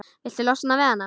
Viltu losna við hana?